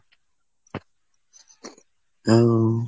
হুম